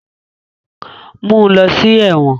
Mu u lọ si ẹwọn!